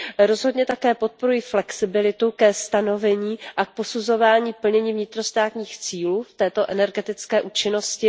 Rozhodně také podporuji flexibilitu ke stanovení a k posuzování plnění vnitrostátních cílů v této energetické účinnosti.